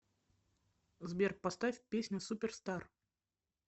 сбер поставь песня суперстар